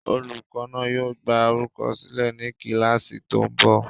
Olùkọ́ náà yóò gbá orúkọ sílẹ̀ ní kíláàsì tó ń bọ̀